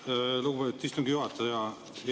Aitäh, lugupeetud istungi juhataja!